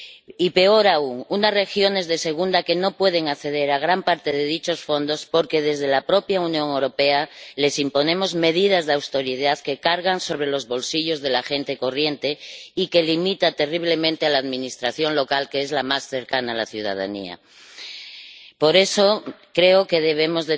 Y, peor aún, son unas regiones de segunda que no pueden acceder a gran parte de dichos fondos, porque desde la propia Unión Europea les imponemos medidas de austeridad que cargan sobre los bolsillos de la gente corriente y que limitan terriblemente a la administración local, que es la más cercana a la ciudadanía. Por eso, creo que debemos